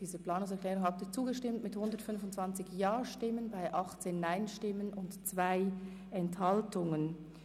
Sie haben der Planungserklärung 5 zugestimmt mit 125 Ja- gegen 18 Nein-Stimmen bei 2 Enthaltungen.